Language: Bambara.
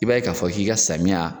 I b'a ye k'a fɔ k'i ka samiya